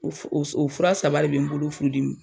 O fura saba de bɛ n bolo furudmi na.i